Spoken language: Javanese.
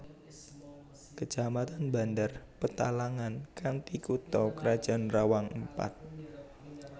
Kecamatan Bandar Petalangan kanthi kutha krajan Rawang Empat